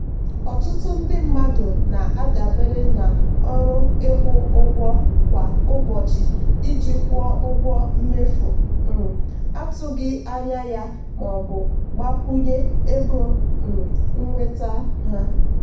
ọtụtụ ndị mmadụ na-adabere na ọrụ ịkwụ ụgwọ kwa ụbọchị iji kwụọ ụgwọ mmefu um atụghị anya ya maọbụ gbakwunye ego um nnweta ha.